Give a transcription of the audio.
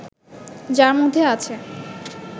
যার মধ্যে আছে